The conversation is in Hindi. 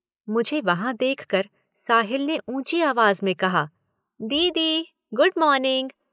मुझे वहाँ देखकर साहिल ने ऊँची आवाज में कहा, दीदी, गुड मार्निंग।